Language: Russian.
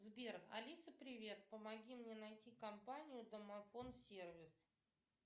сбер алиса привет помоги мне найти компанию домофон сервис